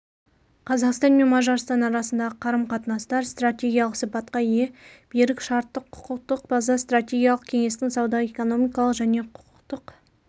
қазақстан мен мажарстан арасындағы қарым-қатынастар стратегиялық сипатқа ие берік шарттық-құқықтық база стратегиялық кеңестің сауда-экономикалық және құқықтық